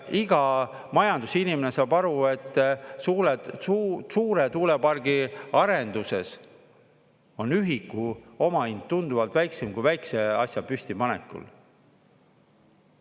Iga majandusinimene saab aru, et suure tuulepargi arenduses on ühiku omahind tunduvalt väiksem kui väikese asja püstipanekul.